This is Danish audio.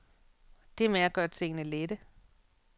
Det er med at gøre tingene lette.